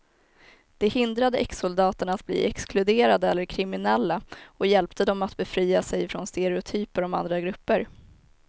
Det hindrade exsoldaterna att bli exkluderade eller kriminella och hjälpte dem att befria sig från stereotyper om andra grupper.